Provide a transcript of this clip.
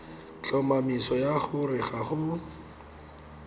tlhomamiso ya gore ga go